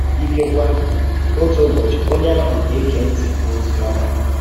Ìkèkwè, òtù ụbọchị onye ahụ gà-ège ntị n’òzì ọma